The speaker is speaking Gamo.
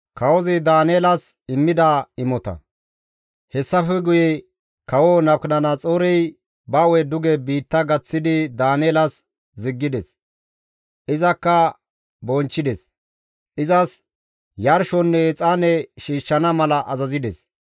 Hessafe guye kawo Nabukadanaxoorey ba hu7e duge biitta gaththidi Daaneelas ziggides; izakka bonchchides; izas yarshonne exaane shiishshana mala azazides.